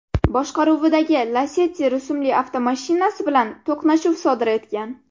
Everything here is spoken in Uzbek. boshqaruvidagi Lacetti rusumli avtomashinasi bilan to‘qnashuv sodir etgan.